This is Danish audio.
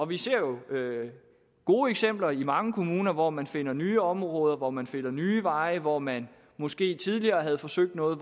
vi ser jo gode eksempler i mange kommuner hvor man finder nye områder hvor man finder nye veje og hvor man måske tidligere havde forsøgt noget